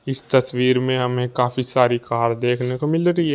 इस तस्वीर में हमें काफी सारी कार देखने को मिल रही है।